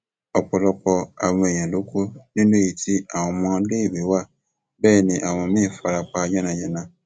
ọpọlọpọ àwọn èèyàn ló kú nínú èyí tí àwọn ọmọléèwé wa bẹẹ ni àwọn míín fara pa yànnà yànàá